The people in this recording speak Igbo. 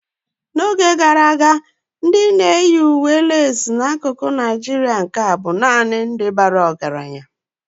N'oge gara aga ihe eji akwa leesị bụ naanị ndị ọgaranya na ndị ọgaranya na-eyi n'akụkụ ndị a nke Nigeria.